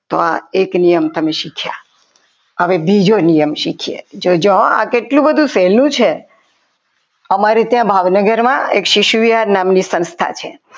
તો આ એક નિયમ તમે શીખ્યા. હવે બીજો નિયમ શીખીએ જોજો આ કેટલું બધું સહેલું છે અમારે ત્યાં ભાવનગરમાં એક શિશુ વિહાર નામની સંસ્થા છે.